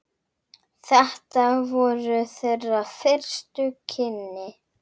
Þetta voru þeirra fyrstu kynni.